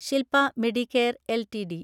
Shilpa medicare LTD